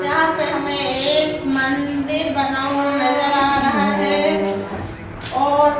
यहां पे हमें एक मंदिर बना हुआ नजर आ रहा है और--